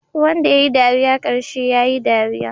Wanda yayi dariya karshe yayi dariya